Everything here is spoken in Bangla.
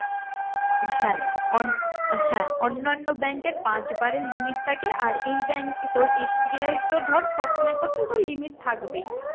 হ্যাঁ হ্যাঁ অন্যান্য bank এর পাঁচবারের limit থাকে আর এই bank এ তোর SBI এর তো ধর তোর তো তোর limit থাকবেই।